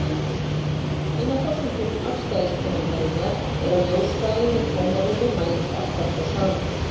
Ein af forsendum afstæðiskenningarinnar er að ljóshraðinn í tómarúmi mælist alltaf sá sami.